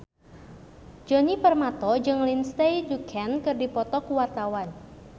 Djoni Permato jeung Lindsay Ducan keur dipoto ku wartawan